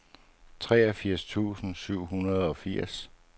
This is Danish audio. treogfirs tusind og syvogfirs